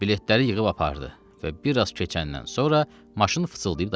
Biletləri yığıb apardı və biraz keçəndən sonra maşın fısıldayıb dayandı.